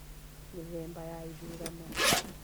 Mĩthemba ya ithurano.